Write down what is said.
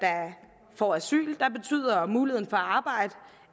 får asyl betyder muligheden for at arbejde